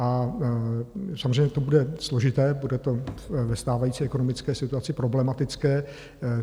A samozřejmě to bude složité, bude to ve stávající ekonomické situaci problematické.